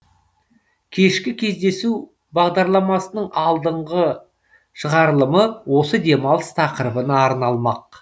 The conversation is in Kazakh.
кешкі кездесу бағдарламасының алдыңғы шығарылымы осы демалыс тақырыбына арналмақ